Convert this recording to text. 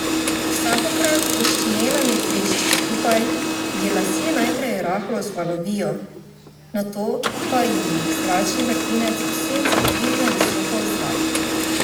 Vsakokrat ko s činelami trešči skupaj, ji lasje najprej rahlo vzvalovijo, nato pa ji jih zračni vrtinec ob sencih dvigne visoko v zrak.